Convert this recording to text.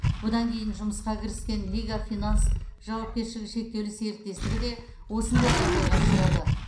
бұдан кейін жұмысқа кіріскен лига финанс жауапкершілігі шектеулі серіктестігі де осындай жағдайға ұшырады